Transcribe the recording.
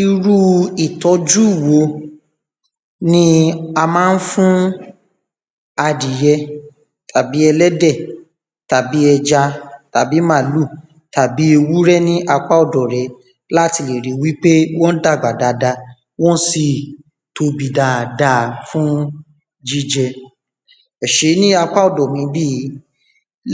irú ìtọjú wo ni a mán fún adìyẹ tàbí ẹlẹ́dẹ̀, àbí ẹja, tàbí màálù, tàbí ewúrẹ́ ní apá ọ̀dọ̀ re láti lè ri wíkpé wọ́n dàgb̀a dada wọ́n sì tóbi dada fún jíjẹ ẹsé, ní apá ọ̀dọ̀ mi níbìyí